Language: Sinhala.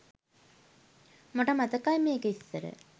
මට මතකයි මේක ඉස්සර